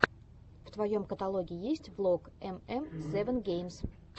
в твоем каталоге есть влог эм эм севен геймс